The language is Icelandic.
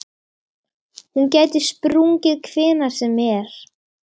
Hún gæti sprungið hvenær sem er.